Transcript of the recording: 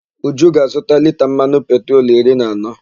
Uju ga-azụta lita mmanụ petrolu iri na anọ.